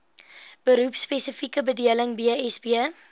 beroepspesifieke bedeling bsb